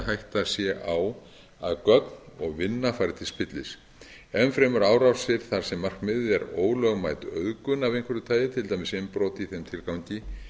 hætta sé á að gögn og vinna fari til spillis enn fremur árásir þar sem markmiðið er ólögmæt auðgun af einhverju tagi til dæmis innbrot í þeim tilgangi